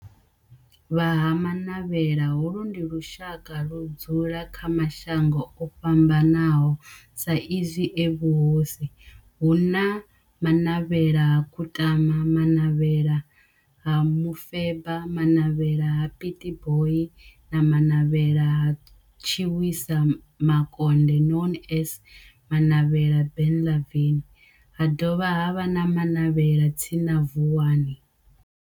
Vha Ha-Manavhela, holu ndi lushaka ludzula kha mashango ofhambanaho sa izwi e mahosi hu na Manavhela ha Kutama, Manavhela ha Mufeba, Manavhela ha Pietboi na Manavhela ha Tshiwisa Mukonde known as Manavhela Benlavin ha dovha havha na Manavhela tsini na Vuwani.